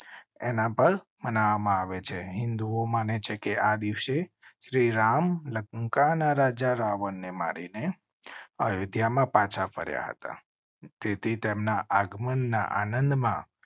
એના પર માનવવા માં આવે છે. હિન્દુઓ માને છે કે આ દિવસે શ્રીરામ લંકા ના રાજા રાવણ ને મારી ને અયોધ્યા માં પાછા ફર્યા હતા તેથી તેમના આગમન ના આનંદમાં